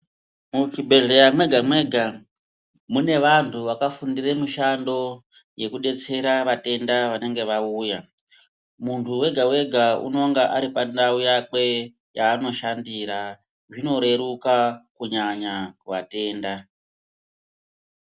Muchibhendlera mwega mwega mune vantu vakafundira mishando yekudetsera vatenda vanenge vauya. Muntu wega wega unenge ari pandau yakwe yaanoshandira, zvinoreruka kunyanya vatenda.